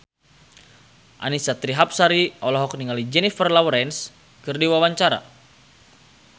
Annisa Trihapsari olohok ningali Jennifer Lawrence keur diwawancara